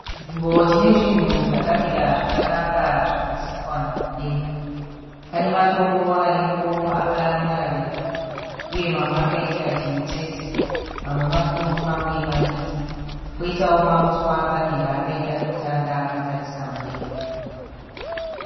Chinzvimbo chine zvinhu zvakamira zvakanaka zvakasikwa nanyadenga. Pane matombo aripo akamwararika. Uye mamwe akaita chimutsetse. Mamwe makuru mamwe madiki. Koitawo mauswa akamira akaita tutanda akatarisa mudenga .